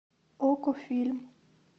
окко фильм